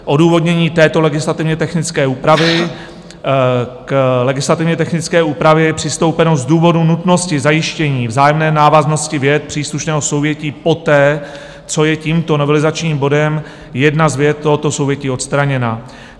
Odůvodnění této legislativně technické úpravy: k legislativně technické úpravě je přistoupeno z důvodu nutnosti zajištění vzájemné návaznosti vět příslušného souvětí poté, co je tímto novelizačním bodem jedna z vět tohoto souvětí odstraněna.